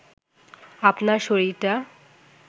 আপনার শরীরটা